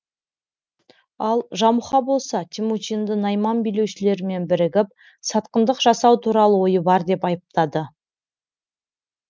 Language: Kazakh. ал жамұха болса темучинды найман билеушілерімен бірігіп сатқындық жасау туралы ойы бар деп айыптады